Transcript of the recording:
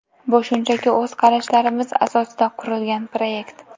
Bu shunchaki o‘z qarashlarimiz asosida qurilgan proyekt.